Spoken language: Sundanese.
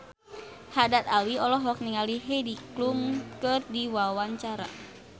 Haddad Alwi olohok ningali Heidi Klum keur diwawancara